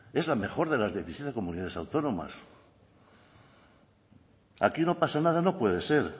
es la mejor de las diecisiete comunidades autónomas aquí no pasa nada no puede ser